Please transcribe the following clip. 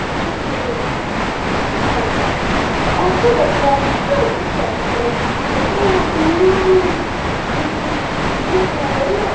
кричит всё время типа нормально а вот когда я начинаю кричать так сразу всё-таки уу а не прикольно